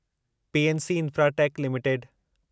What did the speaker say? PNC infratech limited